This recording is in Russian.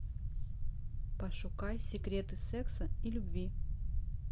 пошукай секреты секса и любви